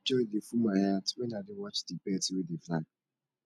joy dey full my heart wen i dey watch di birds wey dey fly